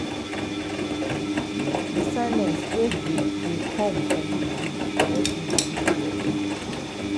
di silence wey dey dey come from dis bush dey help me tink well.